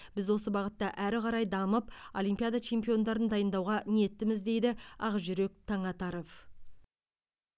біз осы бағытта әрі қарай дамып олимпиада чемпиондарын дайындауға ниеттіміз дейді ақжүрек таңатаров